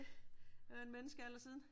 Det er jo en menneskealder siden